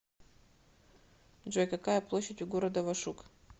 джой какая площадь у города вашук